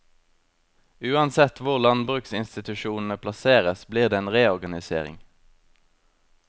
Uansett hvor landbruksinstitusjonene plasseres blir det en reorganisering.